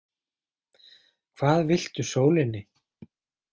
Hvað viltu sólinni?